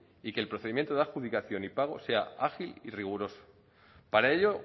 y que el procedimiento de adjudicación y pago sea ágil y riguroso para ello